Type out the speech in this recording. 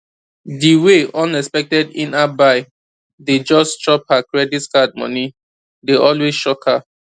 di way unexpected inapp buy dey just chop her credit card money dey always shock her